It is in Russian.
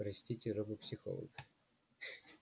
простите робопсихолог